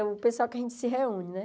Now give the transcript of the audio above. É o pessoal que a gente se reúne, né?